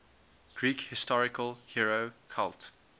greek historical hero cult